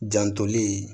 Jantoli